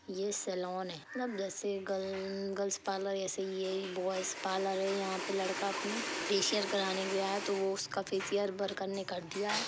ये सेलोन है मतलब जैसे गर्ललल्ल गर्ल्स पार्लर ऐसे यही बॉयज पार्लर है यहाँ पे लड़का अपनी पेशियर कराने भी आए तो उसका फेशियल वर्कर ने कर दिया है।